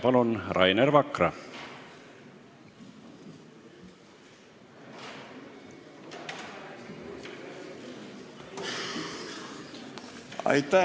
Palun, Rainer Vakra!